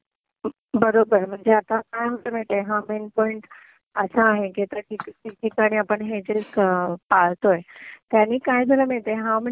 बरोबर. मग ते आता कायमचं माहितीये हा मेन पॉइंट असा आहे की आता जे ठिकठिकाणी आपण हे जे पळतोय, त्यानी काय झालं माहितीये, हा म्हणजे